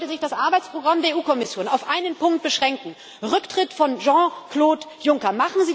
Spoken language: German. Deswegen sollte sich das Arbeitsprogramm der Kommission auf einen Punkt beschränken Rücktritt von Jean Claude Juncker.